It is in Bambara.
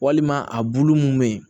Walima a bulu mun be yen